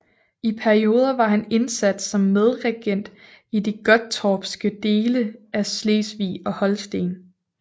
I perioder var han indsat som medregent i de gottorpske dele af Slesvig og Holsten